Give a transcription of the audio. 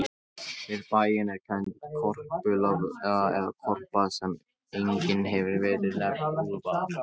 Við bæinn er kennd Korpúlfsstaðaá, eða Korpa, sem einnig hefur verið nefnd Úlfarsá.